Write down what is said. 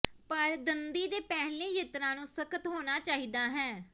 ਪਰ ਦੰਦੀ ਦੇ ਪਹਿਲੇ ਯਤਨਾਂ ਨੂੰ ਸਖ਼ਤ ਹੋਣਾ ਚਾਹੀਦਾ ਹੈ